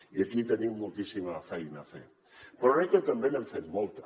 i aquí tenim moltíssima feina a fer però crec que també n’hem fet molta